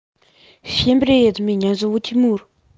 всем привет меня зовут тимур